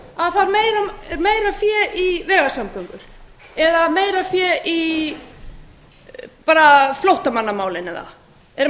meira fé í vegasamgöngur eða meira fé í flóttamannamálin eru menn að fatta það